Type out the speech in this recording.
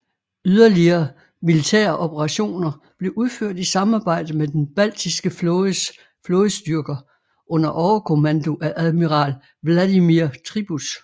Yderligere militære operationer blev udført i samarbejde med den Baltiske Flådes flådestyrker under overkommando af admiral Vladimir Tribuz